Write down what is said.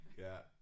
Ja